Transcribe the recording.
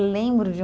Lembro de um